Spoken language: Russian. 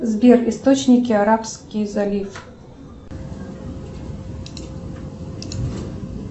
сбер источники арабский залив